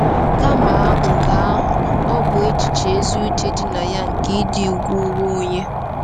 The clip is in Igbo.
Kama nke ahụ, ọ bụ echiche ezi uche dị na ya nke ịdị ùgwù onwe onye.